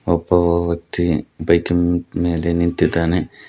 ಒಬ್ಬ ವ್ಯಕ್ತಿ ಬೈಕಿನ್ ಮೇಲೆ ನಿಂತಿದ್ದಾನೆ.